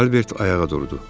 Albert ayağa durdu.